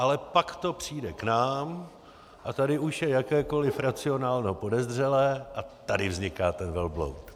Ale pak to přijde k nám a tady už je jakékoliv racionálno podezřelé a tady vzniká ten velbloud.